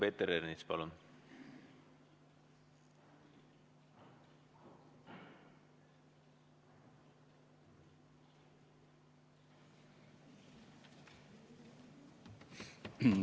Peeter Ernits, palun!